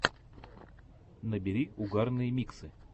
набери угарные миксы